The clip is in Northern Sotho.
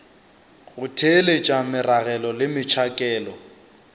go theeletša meragelo le metšhakelo